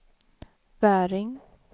Väring